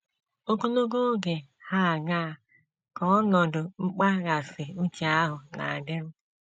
Ogologo oge hà aṅaa ka ọnọdụ mkpaghasị uche ahụ na - adịru?